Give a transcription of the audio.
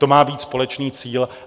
To má být společný cíl.